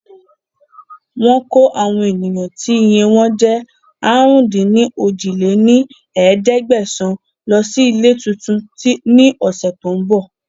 Wọn kò àwọn ènìyàn tí iye wọn jẹ́ àrún-dín-ní-ojì lé ní ẹ̀ẹ́dẹ́gbẹ́sán Lọ síí ilé tuntun ni ọ̀sẹ̀ tòun bọ̀